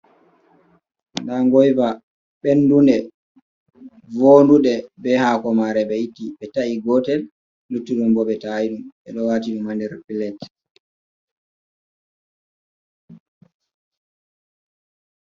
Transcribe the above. Nɗa goiva benɗunde vonɗuɗe, be ha komare be itti. Be tai gotel luttuɗum bo be ta aiɗum. beɗo watinuɗum ha nder pilatji.